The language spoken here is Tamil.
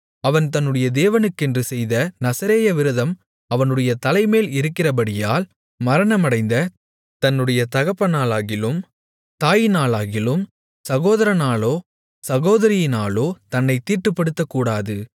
அவன் தன்முடைய தேவனுக்கென்று செய்த நசரேய விரதம் அவனுடைய தலைமேல் இருக்கிறபடியால் மரணமடைந்த தன்னுடைய தகப்பனாலாகிலும் தாயினாலாகிலும் சகோதரனாலோ சகோதரியினாலோ தன்னைத் தீட்டுப்படுத்தக்கூடாது